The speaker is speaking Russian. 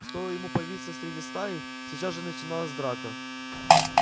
стоило ему появиться среди стаи сейчас же начиналась драка